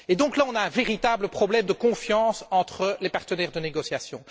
Il y a donc là un véritable problème de confiance entre les partenaires de négociation.